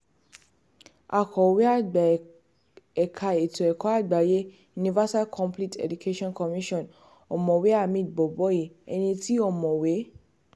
akọ̀wé àgbà ẹ̀ka ètò ẹ̀kọ́ àgbáyé universalcomplete education commission ọ̀mọ̀wé hamid boboyi ẹni tí ọ̀mọ̀wé p